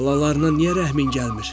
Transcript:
Balalarına niyə rəhmin gəlmir?